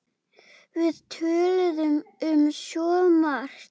Við töluðum um svo margt.